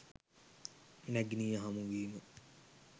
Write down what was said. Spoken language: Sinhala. නැගණිය හමුවීම